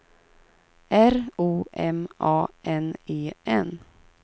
R O M A N E N